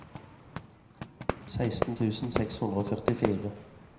seksten tusen seks hundre og førtifire